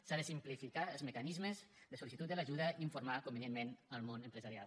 s’han de simplificar els mecanismes de sol·licitud de l’ajuda i informar convenientment el món empresarial